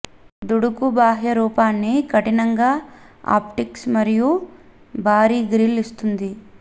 దుడుకు బాహ్య రూపాన్ని కఠినంగా ఆప్టిక్స్ మరియు భారీ గ్రిల్ ఇస్తుంది